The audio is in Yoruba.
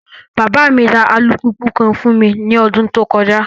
Baba mi ra alupupu kan fun mi ni ọdun to kọja